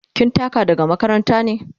Kin taka daga makaranta ne?